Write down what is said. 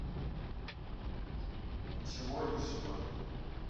ничего лишнего